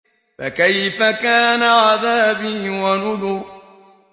فَكَيْفَ كَانَ عَذَابِي وَنُذُرِ